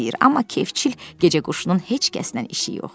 Amma kefçil gecə quşunun heç kəsnən işi yoxdur.